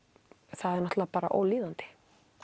það er náttúrulega bara ólíðandi